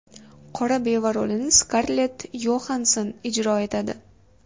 Qora beva rolini Skarlett Yoxanson ijro etadi.